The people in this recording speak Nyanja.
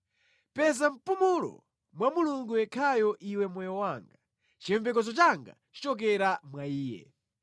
Peza mpumulo mwa Mulungu yekhayo iwe moyo wanga; chiyembekezo changa chichokera mwa Iye.